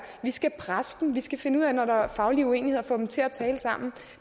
vi skal presse dem vi skal finde ud af når der er faglige uenigheder at få dem til at tale sammen